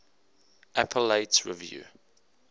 appellate review